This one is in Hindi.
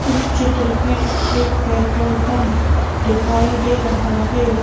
इस चित्र में एक पेट्रोल पंप दिखाई दे रहा है।